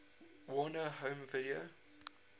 warner home video